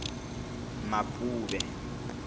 mapuve